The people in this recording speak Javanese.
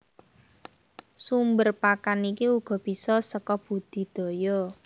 Sumber pakan iki uga bisa saka budidaya